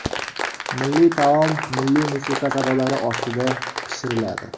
Milliy taom milliy musiqa sadolari ostida pishiriladi.